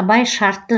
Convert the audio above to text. абай шартты